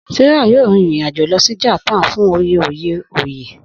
Sarah yoo rin irin ajo lọ si Japan fun oye oye oye.